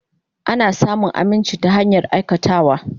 Ana samun aminci ta hanyar aikatawa.